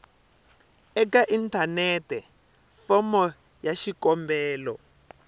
eka inthanete fomo ya xikombelo